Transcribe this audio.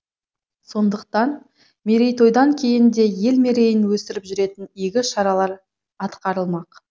сондықтан мерейтойдан кейін де ел мерейін өсіріп жүретін игі шаралар атқарылмақ